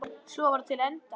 Svo var til enda.